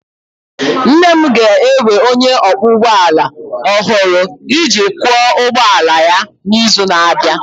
Nne m ga-ewe onye ọkwọ ụgbọ ala ọhụrụ iji kwọ ụgbọ ala ya n'izu na-abịa.